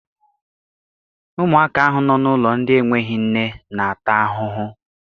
Ụmụaka ahụ nọ n'ụlọ ndị n'enweghị nne n'ata ahụhụ.